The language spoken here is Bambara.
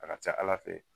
A ka ca ala fɛ